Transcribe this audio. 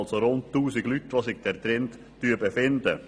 Im Gebäude befinden sich also rund 1000 Leute.